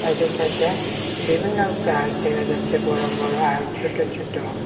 সাইডে সাইডে বিভিন্ন গাছ দেখা যাচ্ছে বড় বড় আর ছোট ছোট।